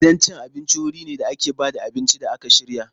Gidan cin abinci wuri ne da ake ba da abinci da aka shirya.